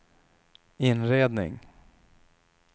inredning